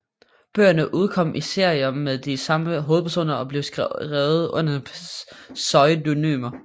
Bøgerne udkom i serier med de samme hovedpersoner og blev skrevet under pseudonymer